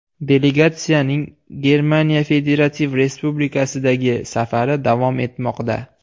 Delegatsiyaning Germaniya federativ respublikasidagi safari davom etmoqda.